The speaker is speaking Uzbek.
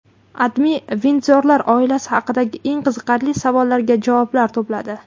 AdMe Vindzorlar oilasi haqidagi eng qiziqarli savollarga javoblar to‘pladi .